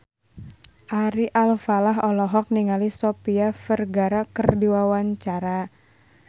Ari Alfalah olohok ningali Sofia Vergara keur diwawancara